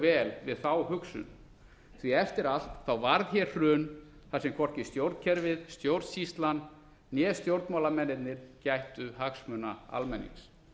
vel við hugsunina því eftir allt varð hér hrun þar sem hvorki stjórnkerfið stjórnsýslan né stjórnmálamennirnir gættu hagsmuna almennings